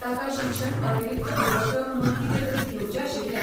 ताका शिक्षण अतिरिक्त उपक्रम म्हूण कितेंतरी घेवचें आशिल्लें.